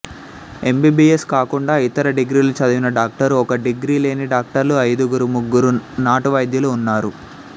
MBBS కాకుండా ఇతర డిగ్రీలు చదివిన డాక్టరు ఒకరు డిగ్రీ లేని డాక్టర్లు ఐదుగురు ముగ్గురు నాటు వైద్యులు ఉన్నారు